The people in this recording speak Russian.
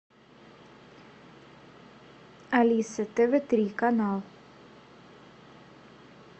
алиса тв три канал